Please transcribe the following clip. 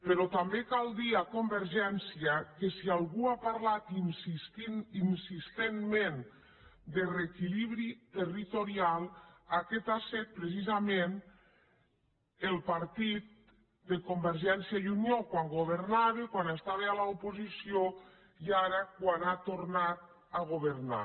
però també cal dir a convergència que si algú ha parlat insistentment de reequilibri territorial aquest ha set precisament el partit de convergència i unió quan governava quan estava a l’oposició i ara quan ha tornat a governar